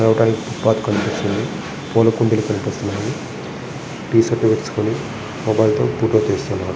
Bank కనిపిస్తుంది పూల కుండీలు కనిపిస్తున్నాయి టీ-షర్ట్ వెస్కొని ఒకతను ఫోటో తెస్తున్నాడు.